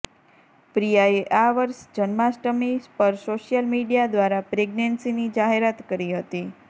પ્રિયાએ આ વર્ષ જન્માષ્ટમી પર સોશિયલ મીડિયા દ્વારા પ્રેગનેંન્સીની જાહેરાત કરી હતી